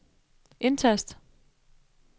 indtast